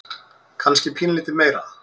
Kannski pínulítið meira.